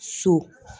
So